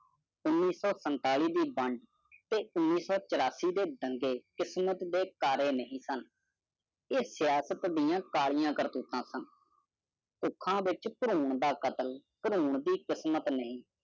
ਦੰਦੀ ਕਿਸਮਤ ਦਿਵਸ ਕਰਿਆ ਨਹੀਂ ਸਾੰਨੇ ਸਿਆਸਤ ਦੀ ਕੇ ਲੀਏ ਕਰੂਤਾ ਸੈਨ ਅਖਾ ਵਿਚਾਰ ਭਰੋਂ ਦਾ ਕਤਲ ਭਰੋ ਦੀ ਕਿਸਮਤ ਨਹੀਂ